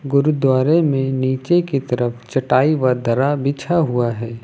गुरुद्वारे में नीचे की तरफ चटाई व दर्रा बिछा हुआ है।